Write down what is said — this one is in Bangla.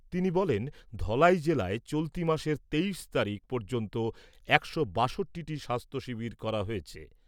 তিনি বলেন , ধলাই জেলায় চলতি মাসের তেইশ তারিখ পর্যন্ত একশো বাষট্টিটি স্বাস্থ্য শিবির করা হয়েছে।